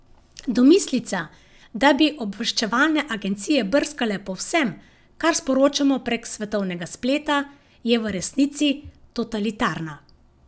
Domislica, da bi obveščevalne agencije brskale po vsem, kar sporočamo prek svetovnega spleta, je v resnici totalitarna.